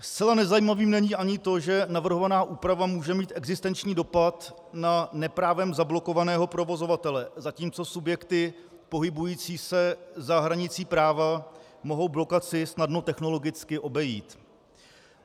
Zcela nezajímavým není ani to, že navrhovaná úprava může mít existenční dopad na neprávem zablokovaného provozovatele, zatímco subjekty pohybující se za hranicí práva mohou blokaci snadno technologicky obejít.